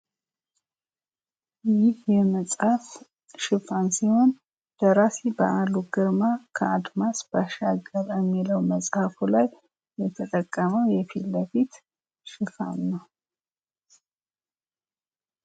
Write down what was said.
ይህ የመፅሐፍ ሽፋን ሲሆን ደራሲ በአሉ ግርማ ከአድማስ ባሻገር ከሚለው መፅሐፉ ላይ የተጠቀመው የፊትለፊት ሽፋን ነው።